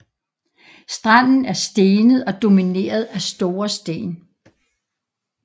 Stranden er stenet og domineret af store sten